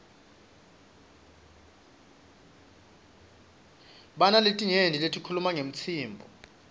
binaletinyenti letikhuwma ngewtsmbuo